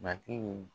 Matigi